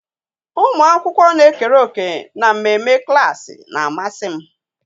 Ụmụ akwụkwọ na-ekere òkè na mmemme klaasị na-amasị m.